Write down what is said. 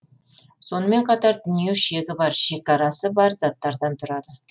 сонымен қатар дүние шегі бар шекарасы бар заттардан тұрады